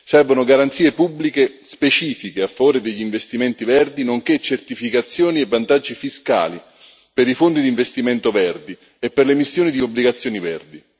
Servono garanzie pubbliche specifiche a favore degli investimenti verdi, nonché certificazioni e vantaggi fiscali per i fondi di investimento verdi e per l'emissione di obbligazioni verdi.